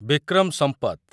Bikram Sampath